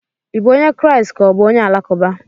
Ị bụ onye Kraịst ka ọ bụ onye Alakụba?